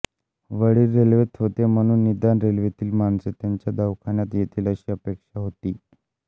वडील रेल्वेत होते म्हणून निदान रेल्वेतील माणसे त्यांच्या दवाखान्यात येतील अशी अपेक्षा होती